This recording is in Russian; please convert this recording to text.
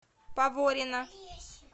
поворино